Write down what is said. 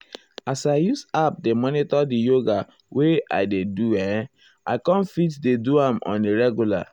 as i use app dey monitor di yoga wey i dey do[um]i com fit dey do am on a regular.